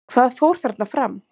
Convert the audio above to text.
Hvað fór þarna fram?